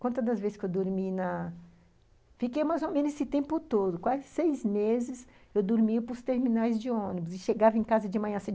Quanto das vezes que eu dormi na... Fiquei mais ou menos esse tempo todo, quase seis meses eu dormia para os terminais de ônibus e chegava em casa de manhã.